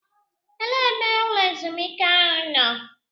Elee ebe ụlọ ezumike ahụ nọ?